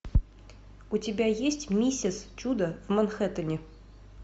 у тебя есть миссис чудо в манхэттене